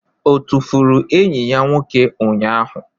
Ọ tụfuru enyi ya nwoke ụnyahụ?